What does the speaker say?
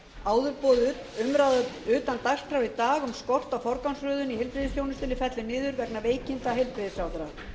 áður boðuð umræða utan dagskrár í dag um skort á forgangsröðun í heilbrigðisþjónustunni fellur niður vegna veikinda heilbrigðisráðherra